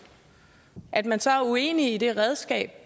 at man så er uenig i det redskab